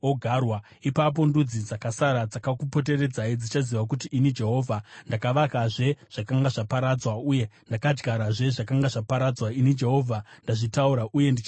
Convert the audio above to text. Ipapo ndudzi dzakasara, dzakakupoteredzai dzichaziva kuti ini Jehovha ndakavakazve zvakanga zvaparadzwa uye ndakadyarazve zvakanga zvaparadzwa. Ini Jehovha ndazvitaura, uye ndichazviita.’